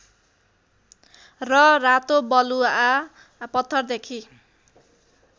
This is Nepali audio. र रातो बलुआ पत्थरदेखि